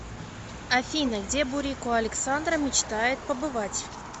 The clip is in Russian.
афина где бурико александра мечтает побывать